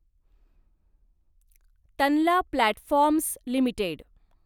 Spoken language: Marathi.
Tanla platforms limited